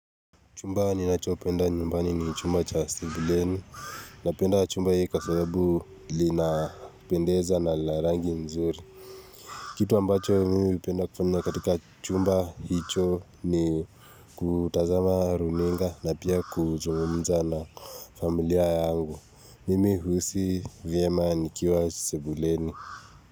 Chumba ninacho penda nyumbani ni chumba cha sebuleni. Napenda chumba hiki kwa sabubu kinapendeza na kinar angi nzuri. Kitu ambacho mimi hupenda kufanya katika chumba hicho ni kutazama runinga na pia kuzungumzana familia yangu. Mimi hujihisi vyema nikiwa sebuleni.